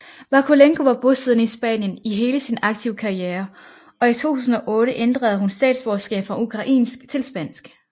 Vakulenko var bosiddende i Spanien i hele sin aktive karriere og i 2008 ændrede hun statsborgerskab fra ukrainsk til spansk